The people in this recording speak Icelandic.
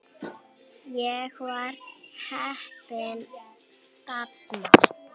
Ég var heppinn þarna